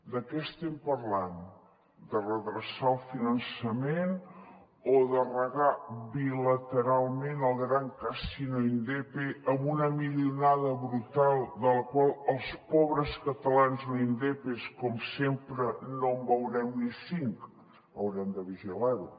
de què estem parlant de redreçar el finançament o de regar bilateralment el gran casino indepe amb una milionada brutal de la qual els pobres catalans no indepes com sempre no en veurem ni cinc haurem de vigilar ho